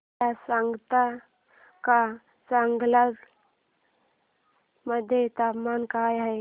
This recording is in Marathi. मला सांगता का चांगलांग मध्ये तापमान काय आहे